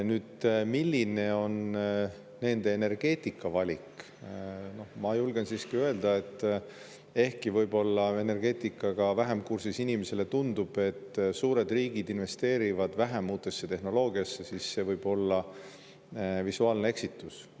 Nüüd, milline on nende energeetikavalik – ma julgen siiski öelda, et ehkki võib-olla energeetikaga vähem kursis inimesele tundub, et suured riigid investeerivad vähem uutesse tehnoloogiatesse, siis see võib olla visuaalne eksitus.